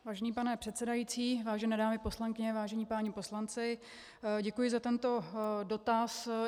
Vážený pane předsedající, vážené dámy poslankyně, vážení páni poslanci, děkuji za tento dotaz.